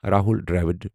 Rahul Dravid